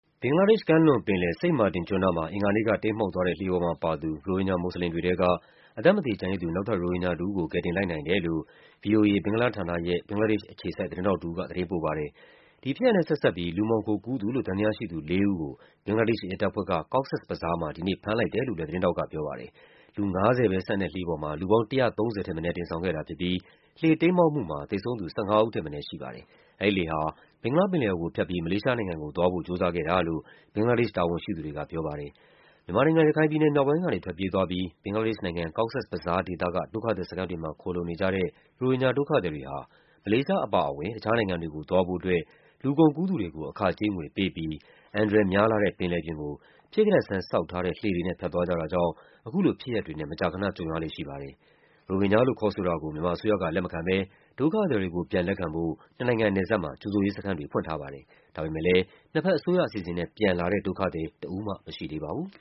ဘင်္ဂလားဒေ့ရှ်ကမ်းလွန်ပင်လယ်၊ Saint Martin ကျွန်းနားမှာ အင်္ဂါနေ့က တိမ်းမှောက်သွားတဲ့ လှေပေါ်မှာပါသူ ရိုဟင်ဂျာ မွတ်ဆလင်တွေထဲက အသက်မသေ ကျန်ရစ်သူ နောက်ထပ် ရိုဟင်ဂျာ တဦးကို ကယ်တင်လိုက်နိုင်တယ်လို့ ဗွီအိုအေ၊ ဘင်္ဂလားဌာနရဲ့ ဘင်္ဂလားဒေ့ရှ်အခြေစိုက် သတင်းထောက်တဦးက သတင်းပို့ပါတယ်။ ဒီဖြစ်ရပ်နဲ့ဆက်စပ်ပြီး လူမှောင်ခိုကူးသူလို့ သံသယရှိသူလေးဦးကို ဘင်္ဂလားဒေ့ရှ်ရဲတပ်ဖွဲ့က Cox’s Bazar မှာ ဒီနေ့ ဖမ်းလိုက်တယ်လို့လည်း သတင်းထောက်ကပြောပါတယ်။ လူူ ၅၀ ပဲဆန့်တဲ့လှေပေါ်မှာ လူပေါင်း ၁၃၀ ထက်မနည်း တင်ဆောင်ခဲ့တာဖြစ်ပြီး လှေတိမ်းမှောက်မှုမှာ သေဆုံးသူ ၁၅ ဦး ထက် မနည်း ရှိပါတယ်။ အဲဒီလှေဟာ ဘင်္ဂလားပင်လယ်အော်ကိုဖြတ်ပြီး မလေးရှားနိုင်ငံကိုသွားဖို့ ကြိုးစားခဲ့တာလို့ ဘင်္ဂလားဒေ့ရှ် တာဝန်ရှိသူတွေကပြောပါတယ်။ မြန်မာနိုင်ငံ၊ ရခိုင်မြောက်ပိုင်းကနေ ထွက်ပြေးသွားပြီး ဘင်္ဂလားဒေ့ရှ်နိုင်ငံ၊ Cox’s Bazar ဒေသက ဒုက္ခသည်စခန်းတွေမှာ ခိုလှုံနေကြတဲ့ ရိုဟင်ဂျာဒုက္ခသည်တွေဟာ မလေးရှားအပါအဝင် တခြားနိုင်ငံတွေကိုသွားဖို့အတွက် လူကုန်ကူးသူတွေကို အခကြေး ငွေပေးပြီး အန္တရာယ်များလှတဲ့ ပင်လယ်ပြင်ကို ဖြစ်ကတတ်ဆန်း ဆောက်ထားတဲ့ လှေတွေနဲ့ သွားကြတာကြောင့် အခုလို ဖြစ်ရပ်တွေနဲ့ မကြာခဏကြုံရလေ့ ရှိပါတယ်။ ရိုဟင်ဂျာလို့ ခေါ်ဆိုတာကို မြန်မာအစိုးရက လက်မခံဘဲ ဒုက္ခသည်တွေကို ပြန်လက်ခံဖို့ နှစ်နိုင်ငံနယ်စပ်မှာ ကြိုဆိုရေးစခန်းတွေ ဖွင့်ထားပါတယ်။ ဒါပေမဲ့လည်း နှစ်ဘက်အစိုးရအစီအစဉ်နဲ့ ပြန်လာတဲ့ ဒုက္ခသည် တဦးမှ မရှိသေးပါဘူး။